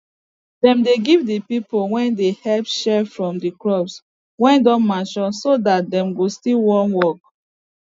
dem dey give de pipo wey dey help share from de crop wey don mature so dat dem go still wan work